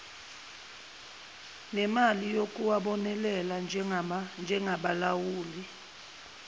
nemali yokuwabonelela njengabalawuli